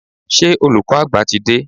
Ṣé olùkọ́ àgbà ti dé?